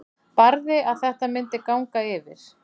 Barði að þetta myndi ganga yfir.